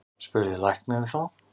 spurði læknirinn þá.